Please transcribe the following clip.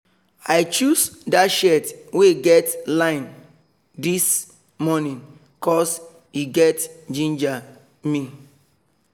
i choose that shirt wey get line this morning cos e just ginger me